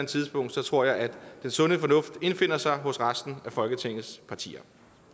tidspunkt tror jeg at den sunde fornuft indfinder sig hos resten af folketingets partier